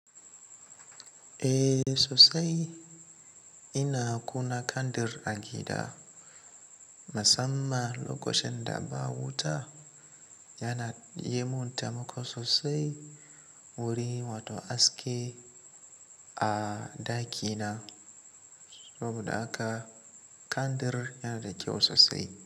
Eh sosai. Ina kuna kandir a gida. Musamman lokocin da ba wuta, yana yi mun tamako sosai wurin wato aske a ɗaki na. Saboda haka kandir yana da kyau sosai.